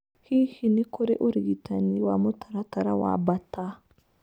Hihi nĩ kũrĩ ũrigitani wa mũtaratara wa Bartter?